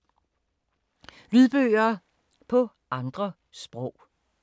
Lydbøger på andre sprog